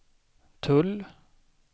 tull